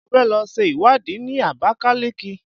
Mo fẹ́ lọ ṣe ìwádìí ní Abakaliki.